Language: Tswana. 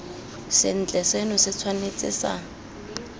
sentle seno se tshwanetse sa